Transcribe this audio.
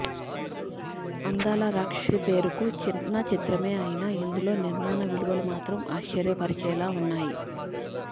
అందాల రాక్షసి పేరుకి చిన్న చిత్రమే అయినా ఇందులో నిర్మాణ విలువలు మాత్రం ఆశ్చర్యపరిచేలా ఉన్నాయి